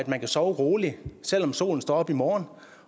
man kan sove roligt selv om solen står op i morgen